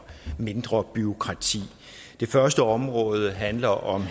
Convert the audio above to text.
mindre bureaukrati det første område handler om